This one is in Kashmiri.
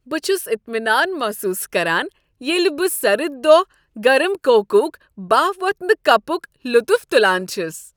بہٕ چھس اطمینان محسوس کران ییٚلہ بہٕ سرد دۄہ گرم کوکٕک بہہ وۄتھونہ کپک لطف تلان چھ۔